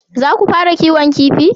Za ku fara kiwon kifi?